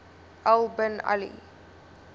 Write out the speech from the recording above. al bin ali